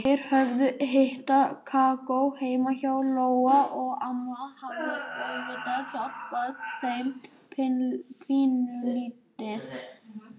Þeir höfðu hitað kakó heima hjá Jóa og amma hafði auðvitað hjálpað þeim pínulítið.